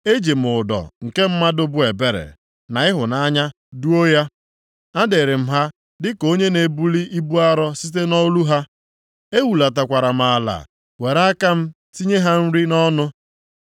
Eji m ụdọ nke mmadụ bụ ebere, na ịhụnanya duo ya. Adịrị m ha dịka onye nʼebuli ibu arọ site nʼolu ha, ehulatakwara m ala, were aka m tinye ha nri nʼọnụ.